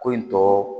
Ko in tɔ